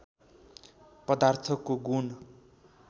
पदार्थको गुण